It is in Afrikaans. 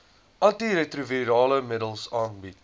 antiretrovirale middels aangebied